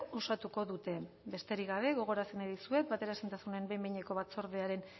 osatuko dute besterik gabe gogorarazi nahi dizuet bateraezintasunen behin behineko batzordearen